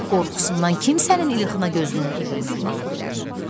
Qorxusundan kim sənin ilxına gözünün ucu ilə baxa bilər?